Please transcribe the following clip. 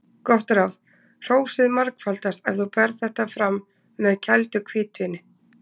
Gott ráð: Hrósið margfaldast ef þú berð þetta fram með kældu hvítvíni.